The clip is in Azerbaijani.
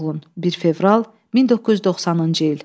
1 fevral 1990-cı il.